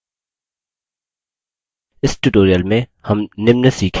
इस tutorial में हम निम्न सीखेंगे